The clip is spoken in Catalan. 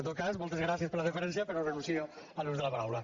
en tot cas moltes gràcies per la deferència però renuncio a l’ús de la paraula